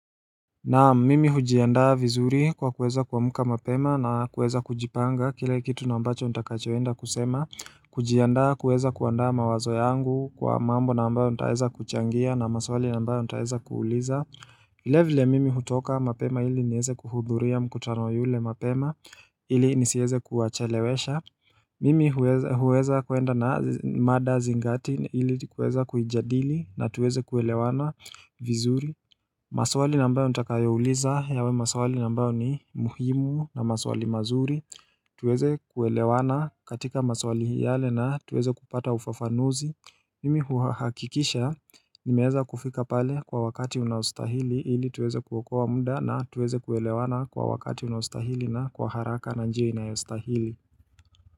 Naam mimi hujiandaa vizuri kwa kuweza kuamuka mapema na kuweza kujipanga kile kitu na ambacho utakachoenda kusema kujiandaa kuweza kuandaa mawazo yangu kwa mambo na ambayo nitaweza kuchangia na maswali na ambayo nitaweza kuuliza vile ville mimi hutoka mapema ili nieze kuhudhuria mkutano yule mapema ili nisieze kuwachelewesha Mimi huweza kuenda na mada zingati ili kuweza kuijadili na tuweze kuelewana vizuri maswali na ambayo nitakayouliza yawe maswali na ambayo ni muhimu na maswali mazuri tuweze kuelewana katika maswali yale na tuweze kupata ufafanuzi Mimi huhakikisha nimeeza kufika pale kwa wakati unaostahili ili tuweze kuokoa muda na tuweze kuelewana kwa wakati unaostahili na kwa haraka na njia inayostahili.